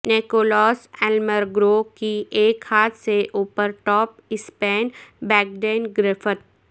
Nikolaas Almagro کی ایک ہاتھ سے اوپر ٹاپ اسپین بیکڈینڈ گرفت